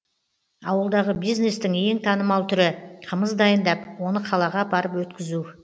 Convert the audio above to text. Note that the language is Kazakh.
ауылдағы бизнестің ең танымал түрі қымыз дайындап оны қалаға апарып өткізу